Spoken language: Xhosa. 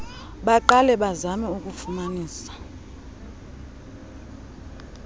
baqale bazame ukufumanisa